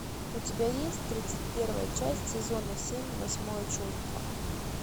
у тебя есть тридцать первая часть сезона семь восьмое чувство